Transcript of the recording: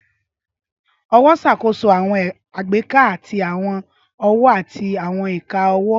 Ọwọ ṣakoso awọn agbeka ti awọn ọwọ ati awọn ika ọwọ.